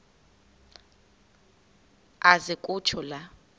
aze kutsho la